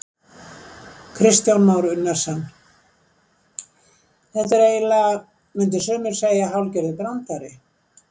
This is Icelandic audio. Kristján Már Unnarsson: Þetta er eiginlega, myndu sumir segja hálfgerður brandari?